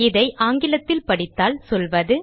இதை ஆங்கிலத்தில் படித்தால் சொல்வது